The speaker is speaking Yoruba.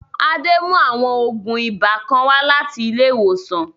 Adé mú àwọn ògùn ibà kan wá láti ilé ìwòsàn